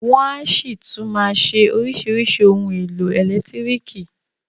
Wọn a ṣì tún máa ṣe oríṣìíríṣìí ohun èlò ẹ̀lẹ́tírìkì.